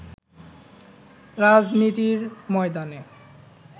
রাজনীতির ময়দানে